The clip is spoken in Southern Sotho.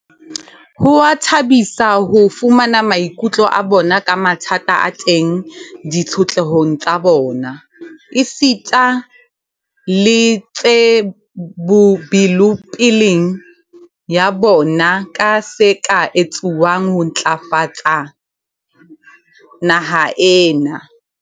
Ho a thabisa ho fumana maikutlo a bona ka mathata a teng ditshotlehong tsa bona, esita le tjhe belopeleng ya bona ka se ka etsuwang ho ntlafatsa naha ena.